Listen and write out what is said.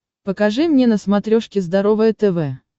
покажи мне на смотрешке здоровое тв